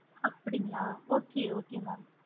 அப்படிங்களா okay okay mam